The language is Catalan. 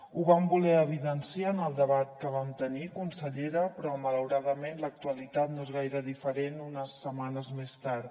ho vam voler evidenciar en el debat que vam tenir consellera però malauradament l’actualitat no és gaire diferent unes setmanes més tard